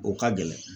O ka gɛlɛn